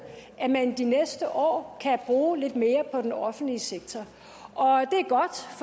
at man de næste år kan bruge lidt mere på den offentlige sektor